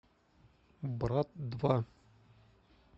брат два